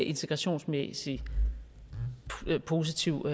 integrationsmæssigt er en positiv